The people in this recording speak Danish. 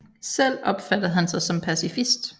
Selv opfattede han sig som pacifist